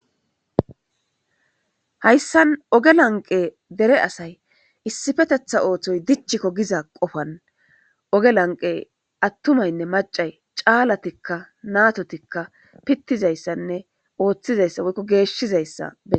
hayssan oge lanqe dere asay issifetetha ooththoy dichikko giza qofan oge lanqe attumaynne macay caalatikka natotikka pittizayssanne ooththizayssa woykko geeshshizayssa beeses